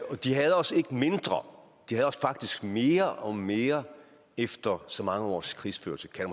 og de hader os ikke mindre de hader os faktisk mere og mere efter så mange års krigsførsel kan